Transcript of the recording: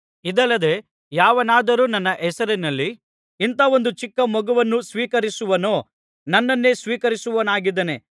ಇದಲ್ಲದೆ ಯಾವನಾದರೂ ನನ್ನ ಹೆಸರಿನಲ್ಲಿ ಇಂಥ ಒಂದು ಚಿಕ್ಕ ಮಗುವನ್ನು ಸ್ವೀಕರಿಸುವನೋ ನನ್ನನ್ನೇ ಸ್ವೀಕರಿಸುವವನಾಗಿದ್ದಾನೆ